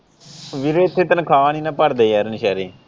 ਵੀਰੇ ਇੱਥੇ ਤਨਖਾਹ ਨਹੀਂ ਨਾ ਭਰਦੇ ਯਾਰ ਨਿਸ਼ੇਰੇ ।